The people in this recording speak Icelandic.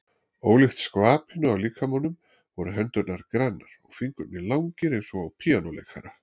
Ólíkt skvapinu á líkamanum voru hendurnar grannar, fingurnir langir eins og á píanóleikara.